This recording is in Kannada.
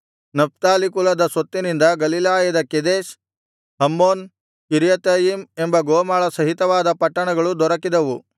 ನಫ್ತಾಲಿ ಕುಲದ ಸ್ವತ್ತಿನಿಂದ ಗಲಿಲಾಯದ ಕೆದೆಷ್ ಹಮ್ಮೋನ್ ಕಿರ್ಯಾತಯಿಮ್ ಎಂಬ ಗೋಮಾಳ ಸಹಿತವಾದ ಪಟ್ಟಣಗಳು ದೊರಕಿದವು